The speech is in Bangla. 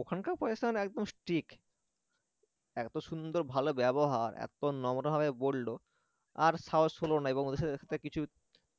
ওখানকার প্রশাসন একদম strict এত সুন্দর ভালো ব্যবহার এত নম্রভাবে বলল আর সাহস হলো না এবং ওদের সাথে কিছু